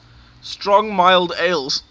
strong mild ales